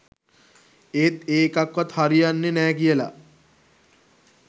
ඒත් ඒ එකක්වත් හරියන්නෙ නෑ කියලා